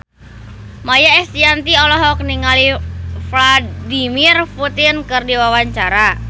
Maia Estianty olohok ningali Vladimir Putin keur diwawancara